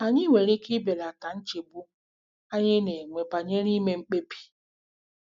Anyị nwere ike ibelata nchegbu anyị na-enwe banyere ime mkpebi.